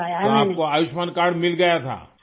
تو آپ کو آیوشمان کارڈ مل گیا تھا؟